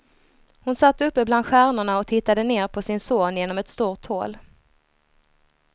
Hon satt uppe bland stjärnorna och tittade ner på sin son genom ett stort hål.